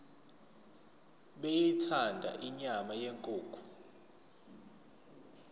beyithanda inyama yenkukhu